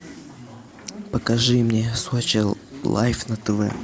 покажи мне сочи лайф на тв